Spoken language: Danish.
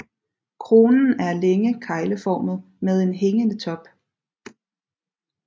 Kronen er længe kegleformet med en hængende top